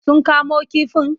Sun kamo kifin?